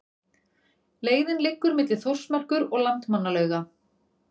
Leiðin liggur milli Þórsmerkur og Landmannalauga.